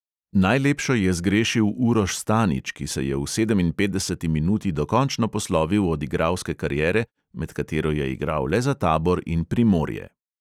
Najlepšo je zgrešil uroš stanič, ki se je v sedeminpetdeseti minuti dokončno poslovil od igralske kariere, med katero je igral le za tabor in primorje.